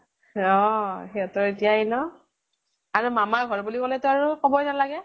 ৰহ সিহঁতৰ এতিয়াই ন। আৰু মামাৰ ঘৰ বুলি কলে তো কবই নালাগে।